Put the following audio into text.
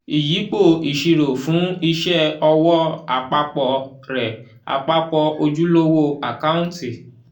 ìyípo ìṣirò fún iṣẹ́ ọwọ́ àpapọ̀ rẹ̀ àpapọ̀ ojúlówó àkáǹtì.